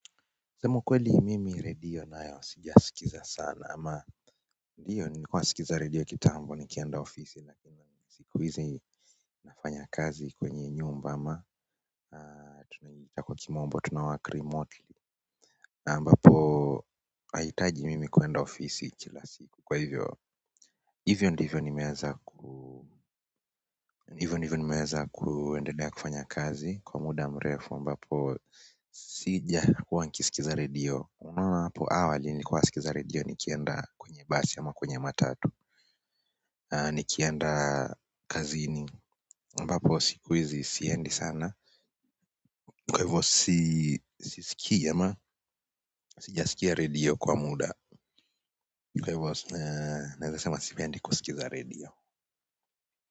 Kusema kweli mimi redio nayo sijasikiza sana ama ndiyo nilikuwa nasikiza redio kitambo nikienda ofisi na siku hizi nafanya kazi kwenye nyumba na tunaita kwa kimombo tunawork kirimotu na ambapo hahitaji mimi kwenda ofisi kila siku kwa hivyo hivyo ndivyo nimeweza ku hivyo ndivyo nimeweza kuendelea kufanya kazi kwa muda mrefu ambapo sijakuwa nikisikiza radio unaona hapo awali nilikuwa sikiza radio nikienda kwenye basi ama kwenye matatu nikienda kazini ambapo sikuhizi siendi sana kwa hivo sisikii ama sijasikia radio kwa muda kwa hivo naweza sema sipendi kusikiza radio.